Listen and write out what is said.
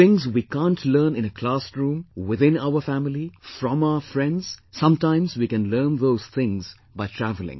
Things we can't learn in a classroom, within our family, from our friends, sometimes we can learn those things by travelling